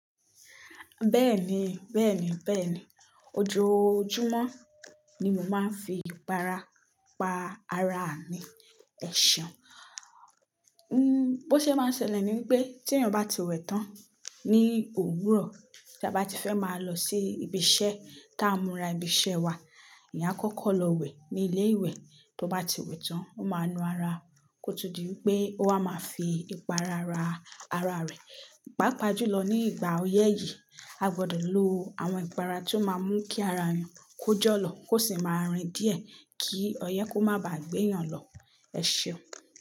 Bẹ́ẹ̀ni, bẹ́ẹ̀ni, bẹ́ẹ̀ni. Ojoojúmọ́ ni mo máa ń fi ìpara pa ara mi. Ẹ ṣeun. Bó ṣe máa ṣẹlẹ̀ ni pé tí èèyàn bá ti wẹ tán ní òwúrọ̀, tí a bá ti fẹ́ máa lọ sí ibi iṣẹ́, ti a ń mura ibi iṣẹ́ wa, èèyàn kọ́kọ́ lọ wẹ ní ilé ìwẹ̀. Tó bá ti wẹ tán, ó máa nu ara kó tó di pé ó wa máa fi ìpara rà ara rẹ̀. Pápa jù lọ ní ìgbà oyẹ́ yìí, a gbọdọ̀ lo àwọn ìpara tó máa mú kí ara èèyàn kó jọ́ lọ kó sì máa rìn díẹ̀ kí ọyẹ́ kó má ba à gbé èèyàn lọ. Ẹ ṣeun.